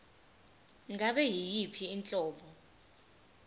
ngabe yiyiphi inhlobo